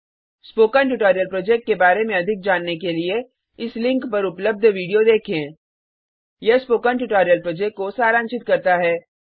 spoken tutorial project के बारे में अधिक जानने के लिए इस लिंक पर उपलब्ध वीडियो देखें httpspoken tutorialorgWhat is a Spoken Tutorial यह स्पोकन ट्यूटोरियल प्रोजेक्ट को सारांशित करता है